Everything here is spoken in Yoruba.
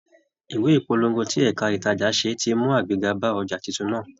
Ìwé ìpolongo tí ẹ̀ka ìtajà ṣe ti mú àgbéga bá ọjà titun náà.